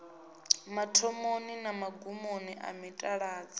mathomoni na magumoni a mitaladzi